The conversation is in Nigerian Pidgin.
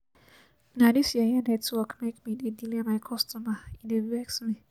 Na dis yeye network make me dey delay my customer, e dey vex me.